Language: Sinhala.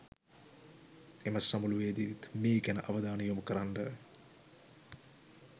එම සමුළුවේදිත් මේ ගැන අවධානය යොමුකරන්න